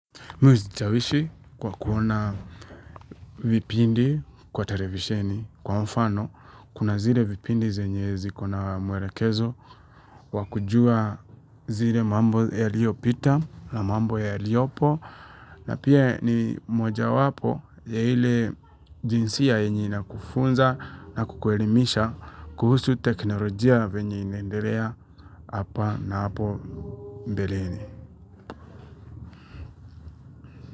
Mimi uzichawishi kwa kuona vipindi kwa televisheni kwa mfano kuna zile vipindi zenye zikona mwelekezo wa kujua zile mambo ya liopita na mambo ya liopo na pia ni moja wapo ya ile jinsia yenye inakufunza na kukuelimisha kuhusu teknolojia venye inaendelea hapa na hapo mbeleni.